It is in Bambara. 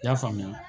I y'a faamuya